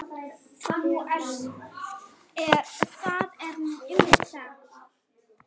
Það er nú einmitt það!